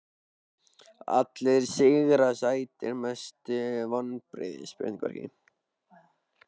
Allir sigrar sætir Mestu vonbrigði?